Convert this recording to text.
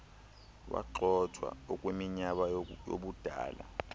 wagxothwa ukwiminyaka yobudala